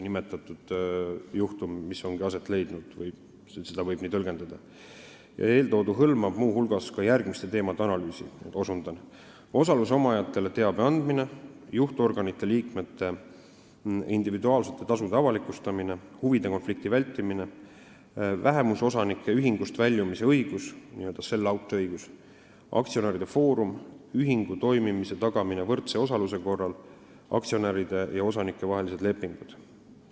Eeltoodu hõlmab muu hulgas järgmiste teemade analüüsi: osaluse omajatele teabe andmine, juhtorganite liikmete individuaalsete tasude avalikustamine, huvide konflikti vältimine, vähemusosanike ühingust väljumise õigus , aktsionäride foorumi loomise küsimus, ühingu toimimise tagamine võrdse osaluse korral, aktsionäride ja osanike vahelised lepingud.